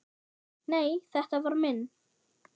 Nei, þetta var minn